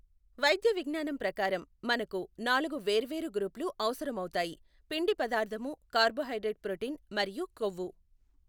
వైద్య విజ్ఞానం ప్రకారం మనకు నాలుగు వేర్వేరు గ్రూపులు అవసరమవుతాయి, పిండి పదార్ధాము కార్బోహైడ్రేట్ ప్రోటీన్ మరియు కొవ్వు.